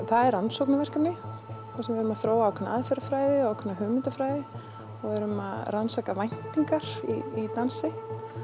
það er rannsóknarverkefni þar sem við erum að þróa ákveðna aðferðarfræði og ákveðna hugmyndafræði og við erum að rannsaka væntingar í dansi